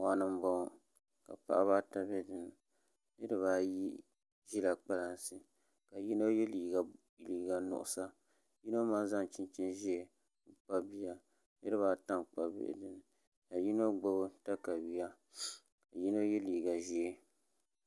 Moɣani n bɔŋɔ ka paɣaba ata bɛ dinni niraba ayi ʒila kpalansi ka yino yɛ liiga din niŋ nuɣsa ka zaŋ chinchin ʒiɛ n zaŋ kpabi bia niraba ata n kpabi bihi ka yino gbubi katawiya ka yino yɛ liiga